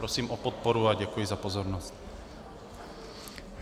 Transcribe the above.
Prosím o podporu a děkuji za pozornost.